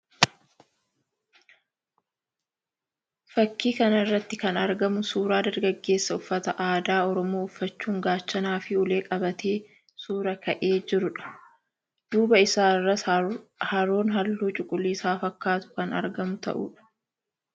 Fakkii kana irratti kan argamu suuraa dargaggeessa uffata aadaa Oromoo uffachuun gaachanaa fi ulee qabatee suuraa ka'ee jiruu dha. Duubaa isaa irras haroon halluu cuquliisa fakkaatu kan argamu ta'uu dha.